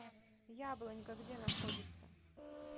яблонька где находится